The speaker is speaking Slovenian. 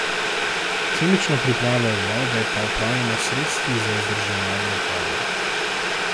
Kemično pripravo vode pa opravljamo s sredstvi za vzdrževanje vode.